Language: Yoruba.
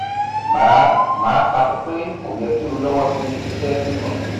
mà á mà á takú pé kò yẹ kí o lọ́wọ́ sí iṣẹ́ kíkùn